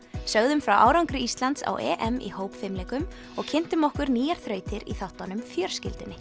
sögðum frá árangri Íslands á EM í hópfimleikum og kynntum okkur nýjar þrautir í þáttunum